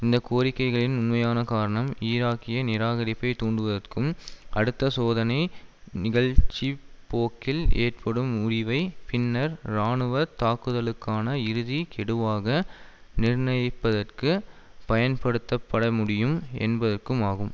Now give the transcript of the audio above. இந்த கோரிக்கைகளின் உண்மையான காரணம் ஈராக்கிய நிராகரிப்பைத் தூண்டுவதற்கும் அடுத்த சோதனை நிகழ்ச்சி போக்கில் ஏற்படும் முறிவை பின்னர் இராணுவ தாக்குதலுக்கான இறுதி கெடுவாக நிர்ணயிப்பதற்கு பயன்படுத்தப்பட முடியும் என்பதற்கும் ஆகும்